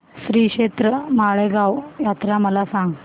श्रीक्षेत्र माळेगाव यात्रा मला सांग